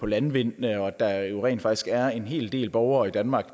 landvind og at der jo rent faktisk er en hel del borgere i danmark